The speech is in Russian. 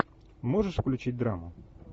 можешь включить драму